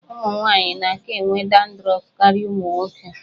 Ụmụ nwaanyị na-aka enwe dandrọf karịa ụmụ nwoke.